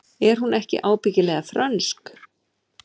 Er hún ekki ábyggilega frönsk?